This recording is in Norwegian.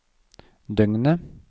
døgnet